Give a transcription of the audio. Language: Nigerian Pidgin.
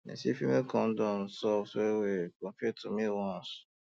dem say female um condom soft wellwell compared to male one